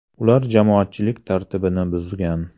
Ular jamoatchilik tartibini buzgan.